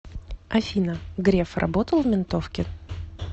афина греф работал в ментовке